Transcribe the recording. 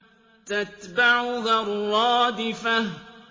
تَتْبَعُهَا الرَّادِفَةُ